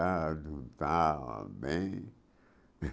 Cantar, lutar, amém.